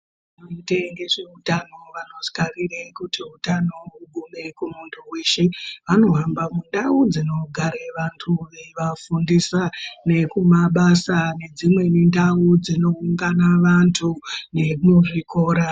Vanoite ngezveutano vanokarire kuti hutano hugume kumuntu weshe. Vanohamba mundau dzinogare vantu veivafundisa, nekumabasa nedzimweni ndau dzinoungana vantu, nemuzvikora.